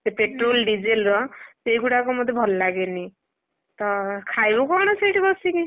ସେଇ petrol, diesel ର ସେଇ ଗୁଡାକ ମତେ ଭଲ ଲାଗେନି ତ ଖାଇବ କଣ ସେଠି ବସିକି?